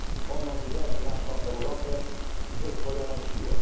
Ono uderzy naszą Europę ze zdwojoną siłą.